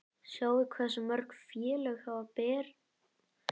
Sjáið hversu mörg félög hafa farið beint aftur upp?